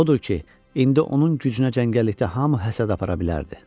Odur ki, indi onun gücünə cəngəllikdə hamı həsəd apara bilərdi.